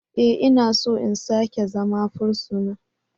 E! Ina so in sake zama fursuna.